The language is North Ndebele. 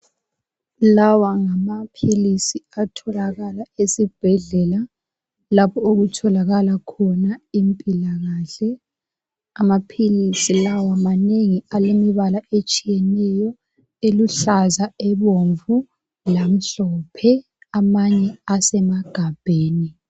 Lawa ngamaphilizi atholakala esibhedlela lapho okutholakala khona impilakahle. Amaphilizi lawa manengi alembala etshiyeneyo eluhlaza, ebomvu lemhlophe. Amanye asemagabheni.